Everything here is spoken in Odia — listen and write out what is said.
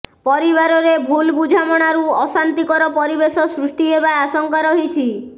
ପରିବାରରେ ଭୁଲ୍ ବୁଝାମଣାରୁ ଅଶାନ୍ତିକର ପରିବେଶ ସୃଷ୍ଟି ହେବା ଆଶଙ୍କା ରହିଛି